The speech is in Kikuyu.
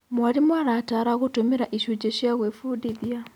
Mwarimũ arataara gũtũmĩra icunjĩ cia gwĩbundithia.